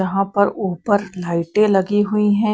यहाँ पर ऊपर लाइटें लगी हुई हैं।